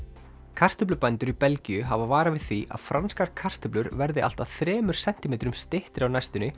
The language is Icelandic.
kartöflubændur í Belgíu hafa varað við því að franskar kartöflur verði allt að þremur sentímetrum styttri á næstunni